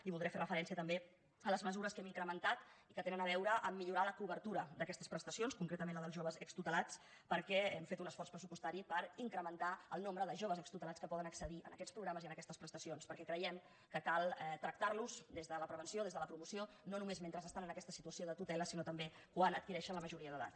i voldré fer referència també a les mesures que hem incrementat i que tenen a veure amb el fet de millorar la cobertura d’aquestes prestacions concretament la dels joves extutelats perquè hem fet un esforç pressupostari per incrementar el nombre de joves extutelats que poden accedir a aquests programes i a aquestes prestacions perquè creiem que cal tractar los des de la prevenció des de la promoció no només mentre estan en aquesta situació de tutela sinó també quan adquireixen la majoria d’edat